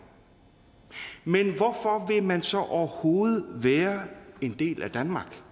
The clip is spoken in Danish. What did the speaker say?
men hvorfor vil man så overhovedet være en del af danmark